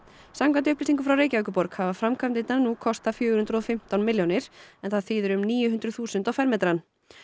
samkvæmt upplýsingum frá Reykjavíkurborg hafa framkvæmdirnar nú kostað fjögur hundruð og fimmtán milljónir en það þýðir um níu hundruð þúsund á fermetrann